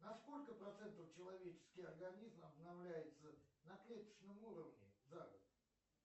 на сколько процентов человеческий организм обновляется на клеточном уровне за год